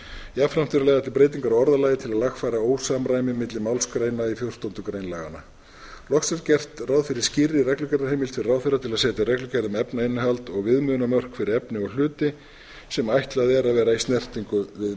jafnframt eru lagðar til breytingar á orðalagi til að lagfæra ósamræmi milli málsgreina í fjórtándu grein laganna loks er gert ráð fyrir skýrri reglugerðarheimild fyrir ráðherra til að setja reglugerð um efnainnihald og viðmiðunarmörk fyrir efni og hluti sem ætlað er að vera í snertingu